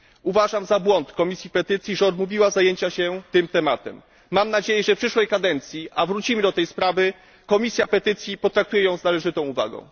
Uważam za błąd Komisji Petycji, że odmówiła zajęcia się tym tematem. Mam nadzieję, że w przyszłej kadencji a wrócimy do tej sprawy Komisja Petycji potraktuje ją z należytą uwagą.